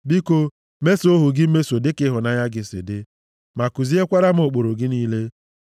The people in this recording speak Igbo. Biko mesoo ohu gị mmeso dịka ịhụnanya gị si dị ma kuziekwara m ụkpụrụ gị niile.